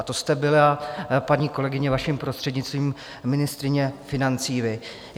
A to jste byla, paní kolegyně, vaším prostřednictvím, ministryní financí vy.